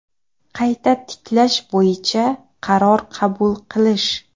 Qayta tiklash bo‘yicha qaror qabul qilish:.